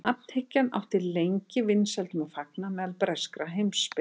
nafnhyggjan átti lengi vinsældum að fagna meðal breskra heimspekinga